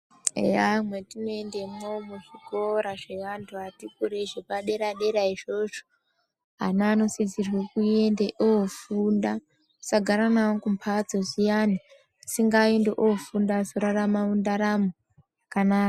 Eya matinoendamo muzvikora zvedera dera ana anosisirwa kofunda tisagara nawo kumbatso zviyani ngaende kofunda ararame mundaramo kana.